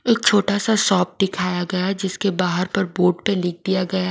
एक छोटा सा शॉप दिखाया गया है जिसके बाहर पर बोर्ड पे लिख दिया गया--